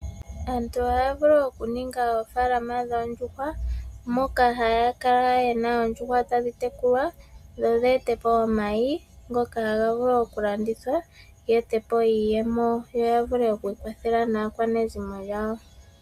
Aantu ohaya vulu oku ninga oofaalama dhoondjuhwa, moka haya kala yena oondjuhwa tadhi tekulwa dho dheete po omayi ngoka haga vulu oku landithwa, yeetepo iiyemo yo yavule oku kwathela naakwanezimo yawo.